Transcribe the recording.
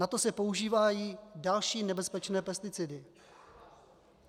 Na to se používají další nebezpečné pesticidy.